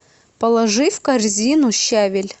положи в корзину щавель